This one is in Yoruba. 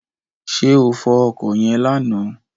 Ṣé o fọ ọkọ̀ yẹn lánàá?